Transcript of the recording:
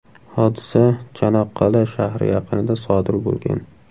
Hodisa Chanoqqal’a shahri yaqinida sodir bo‘lgan.